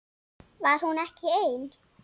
Var hún ekki ein?